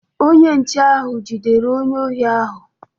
Onye nche ahụ jidere onye ohi ahụ